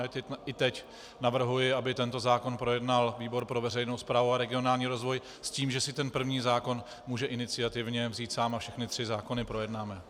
A i teď navrhuji, aby tento zákon projednal výbor pro veřejnou správu a regionální rozvoj s tím, že si ten první zákon může iniciativně vzít sám a všechny tři zákony projednáme.